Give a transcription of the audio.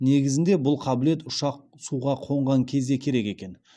негізінде бұл қабілет ұшақ суға қонған кезде керек екен